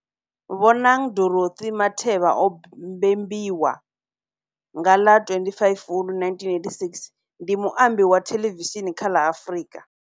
Bonang Dorothy Matheba o mbembiwa nga ḽa 25 Fulwi 1987, ndi muambi wa thelevishini kha la Afrika.